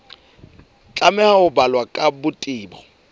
tlameha ho balwa ka botebo